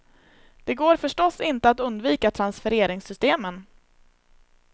Det går förstås inte att undvika transfereringssystemen.